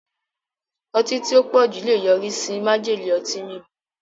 Ọtí tí ó pọ̀jù lè yọrí sí májèlé ọtí mímu.